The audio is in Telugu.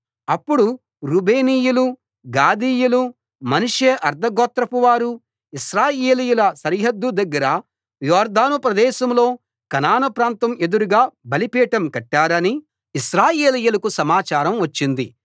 అప్పుడు రూబేనీయులు గాదీయులు మనష్షే అర్థగోత్రపు వారు ఇశ్రాయేలీయుల సరిహద్దు దగ్గర యొర్దాను ప్రదేశంలో కనాను ప్రాంతం ఎదురుగా బలిపీఠం కట్టారని ఇశ్రాయేలీయులకు సమాచారం వచ్చింది